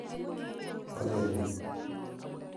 Wiy kolene?